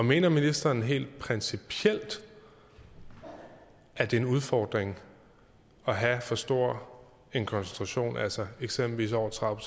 mener ministeren helt principielt at det er en udfordring at have for stor en koncentration af altså eksempelvis over tredive